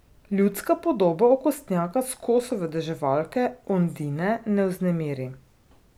Ljudska podoba okostnjaka s koso vedeževalke Ondine ne vznemiri.